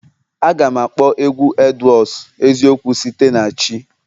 Aga m akpọ egwu Edwards eziokwu site na echi